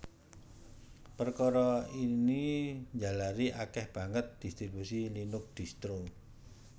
Perkara ini njalari akèh banget distribusi Linux distro